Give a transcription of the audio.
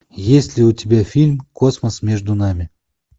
есть ли у тебя фильм космос между нами